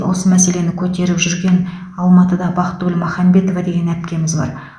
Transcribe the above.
осы мәселені көтеріп жүрген алматыда бақтыгүл махамбетова деген әпкеміз бар